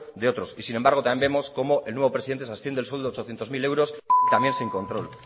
de otros y sin embargo también vemos cómo el nuevo presidente se asciende el sueldo de ochocientos mil euros también sin control